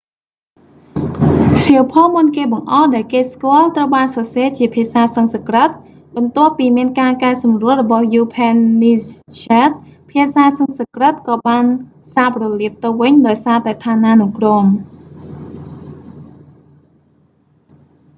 សៀវភៅមុនគេបង្អស់ដែលគេស្គាល់ត្រូវបានសរសេរជាភាសាសំស្ក្រឹត បន្ទាប់ពីមានការកែសម្រួលរបស់យូភែននីសស្ហែដ upanishads ភាសាសំស្ក្រឹតក៏បានសាបរលាបទៅវិញដោយសារតែឋានានុក្រម